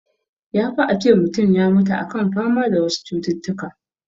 Ya fi a ce mutun ya mutu a kan fama da wasu cututtukan